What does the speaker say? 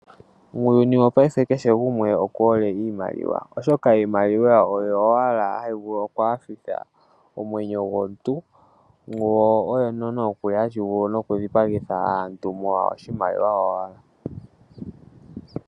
Muuyuni wopaife kehe gumwe oku hole iimaliwa, oshoka iimaliwa oyo owala hayi vulu oku nyanyudha omwenyo gomuntu yo oyo nokuli hayi vulu oku dhipagitha aantu molwa oshimaliwa owala.